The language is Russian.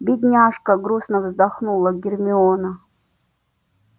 бедняжка грустно вздохнула гермиона